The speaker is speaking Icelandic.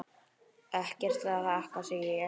Ekkert að þakka, segi ég.